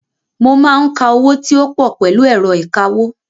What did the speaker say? Mo máa ń ka owó tí ó pọ̀ pẹ̀lú ẹ̀rọ ìkawó.